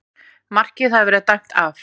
Markið hafði verið dæmt af